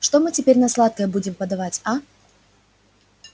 что мы теперь на сладкое будем подавать а